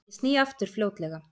Ég sný aftur fljótlega.